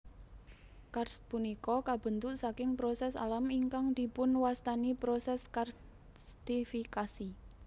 Karst punika kabentuk saking proses alam ingkang dipunwastani proses karstifikasi